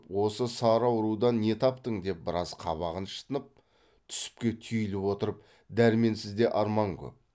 осы сары аурудан не таптың деп біраз қабағын шытынып түсіпке түйіліп отырып дәрменсізде арман көп